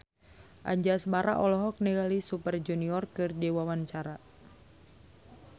Anjasmara olohok ningali Super Junior keur diwawancara